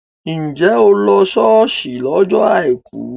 Njẹ́ o lọ ṣọ́ọ̀ṣì lọ́jọ́ àìkú?